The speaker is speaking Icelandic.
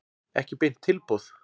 Ekki beint tilboð.